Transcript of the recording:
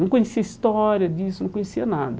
Não conhecia a história disso, não conhecia nada.